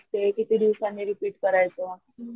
ते किती दिवसांनी रिपीट करायच